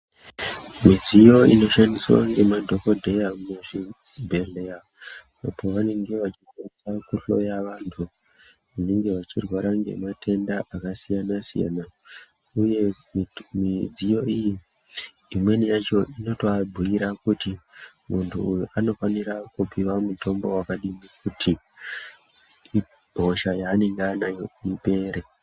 Midziyo inoshandiswa ngemadhokhodheya muzvibhehleya apovanenge vachiedzaa kuhloya vanhu vanenge vachirwara ngematenda akasiyanasiyana uye midziyo iyi imweni yacho inotoabhuyira kuti muunhu uyu unofanira kupuwa mutombo wakadini kuti hosha yaanenge anayo ipere.